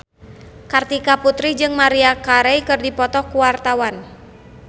Kartika Putri jeung Maria Carey keur dipoto ku wartawan